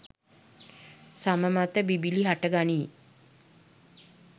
සම මත බිබිළි හටගනී.